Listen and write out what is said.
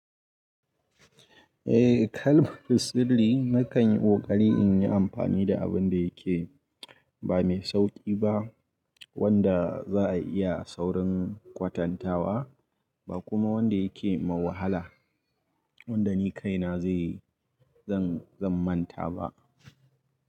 Eh, kalman sirri na kan yi ƙoƙari in yi amfani da abin da yake ba mai sauƙi ba wanda za a iya saurin kwatantawa, ba kuma wanda yake mawahala wanda ni kaina zan manta ba.